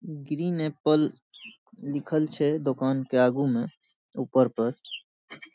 Green apple लिखल छे दुकान के आगु में ऊपर पर।